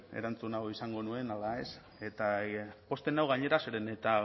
erantzun hau izango nuen ala ez eta pozten nau gainera zeren eta